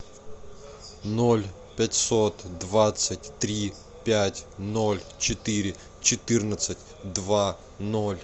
ноль пятьсот двадцать три пять ноль четыре четырнадцать два ноль